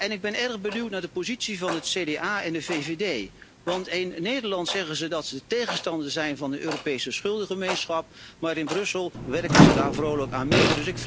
Ik ben erg benieuwd naar de positie van het CDA en de VVD, want in Nederland zeggen ze dat ze tegenstander zijn van de Europese schuldengemeenschap, maar in Brussel werken ze daar vrolijk aan mee.